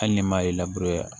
Hali ni maa ye